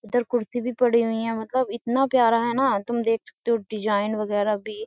इधर कुर्सी भी पड़ी हुई है मतलब इतना प्यारा है ना तुम देख सकते हो डिजाइन वगैरह भी।